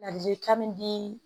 Ladili kan min di